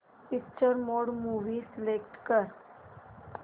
picture mode movie select कर